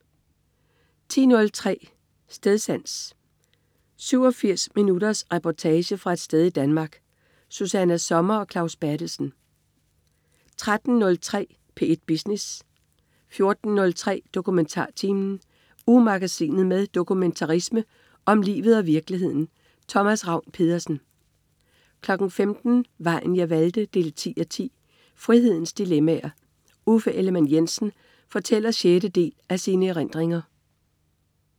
10.03 Stedsans. 87 minutters reportage fra et sted i Danmark. Susanna Sommer og Claus Berthelsen 13.03 P1 Business 14.03 DokumentarTimen. Ugemagasinet med dokumentarisme om livet og virkeligheden. Thomas Ravn-Pedersen 15.00 Vejen jeg valgte 10:10. Frihedens dilemmaer. Uffe Ellemann-Jensen fortæller sjette del af sine erindringer